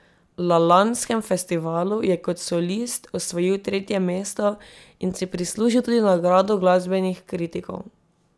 La lanskem festivalu je kot solist osvojil tretje mesto in si prislužil tudi nagrado glasbenih kritikov.